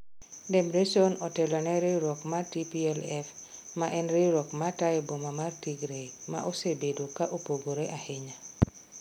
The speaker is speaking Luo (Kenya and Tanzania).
Debretsion otelo ne riwruok mar TPLF, ma en riwruok ma tayo boma mar Tigray, ma osebedo ka opogore ahinya